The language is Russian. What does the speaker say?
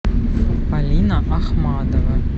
полина ахмадова